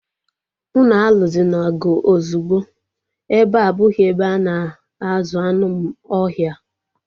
Unu aluzina ọgụ ozugbo! Ebea abụghị ebe a na-azụ anụ ohia